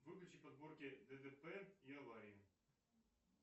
выключи подборки дтп и аварии